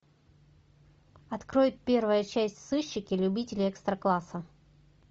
открой первая часть сыщики любители экстра класса